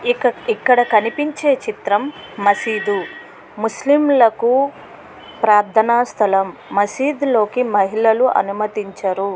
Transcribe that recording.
ఇక్కడ కనిపించే చిత్రం మసీదు . ముస్లిమ్ లకు ప్రార్థన స్థలం. మసీదులో కి మహిళలని అనుమతించరు.